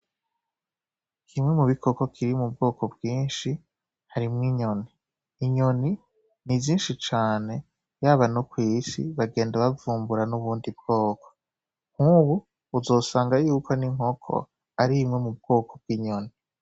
Kimwe mubikoko kiri mubwoko bwinshi harimwo inyoni, inyoni nizinshi cane yaba nokwisi bagenda bavumbura nubundi bwoko nubu uzosanga yuko n'inkoko ari mubwoko bw'inyoni